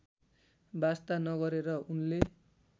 वास्ता नगरेर उनले